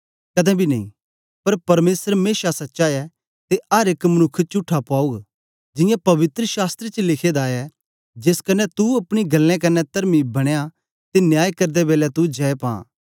कदें बी नेई पर परमेसर मेशा सच्चा ऐ ते अर एक मनुक्ख चुट्ठा पौग जियां पवित्र शास्त्र च लिखे दा ऐ जेस क्न्ने तू अपनी गल्लें कन्ने तरमी बनें ते न्याय करदे बेलै तू जय पां